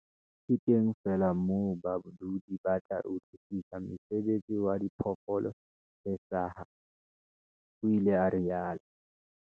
"Ke teng feela moo badudi ba tla utlwisisa mosebetsi wa diphoofolo tse hlaha," o ile a rialo.